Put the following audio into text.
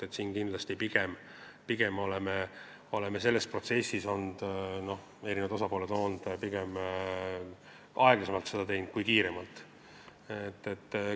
Mulle tundub, et seekord me oleme pikemalt selles protsessis olnud, erinevad osapooled on seda pigem aeglasemalt kui kiiremalt teinud.